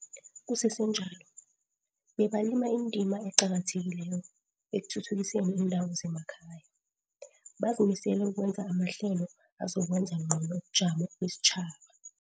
Kusesenjalo, bebalima indima eqakathekileko ekuthuthukiseni iindawo zemakhaya, bazimisele ukwenza amahlelo azokwenza ngcono ubujamo besitjhaba.